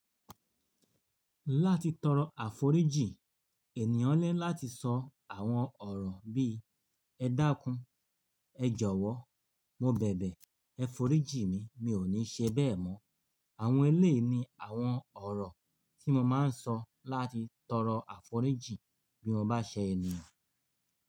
Láti tọrọ àforíjì, ènìyàn ni láti sọ àwọn ọ̀rọ̀ bíí "ẹ dáńkú, ẹ jọ̀wọ́, mo bẹ̀bẹ̀, ẹ f'oríjì mi, mi ò ní ṣe bẹ́ẹ̀ mọ́." Àwọn eléèni àwọn ọ̀rọ̀ tí mo máa ń sọ láti tọrọ àforíjì bí mo bá ṣe ènìyàn.